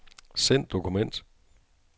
Send dokument.